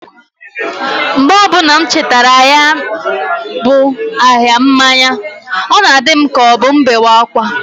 Mgbe ọbuna m chetara ya bu ahia mmanya, ọ na-adi m k' ọbụ m bewe akwa.